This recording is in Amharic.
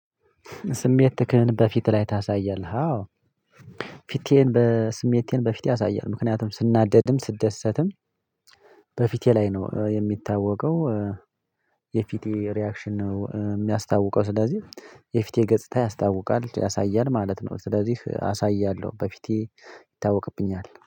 ስሜት ትክክል በፊት ላይ ታሳያለህ? አዎ። ፊቴን በስሜቴን በፊት ያሳያል ምክንያቱም ስናደድም ስደሰትም በፊቴ ላይ ነው የሚታወቀው። የፊቴ ሪያክሽን ነው የሚያስታውቀው ስለዚህ የፊቴ ገጽታ ያስታውቃል ያሳያል ማለት ነው። ስለዚህ አሳያለሁ በፊቴ ይታወቅብኛል